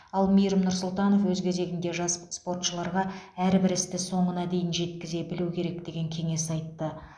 ал мейірім нұрсұлтанов өз кезегінде жас спортшыларға әрбір істі соңына дейін жеткізе білу керек деген кеңес айтты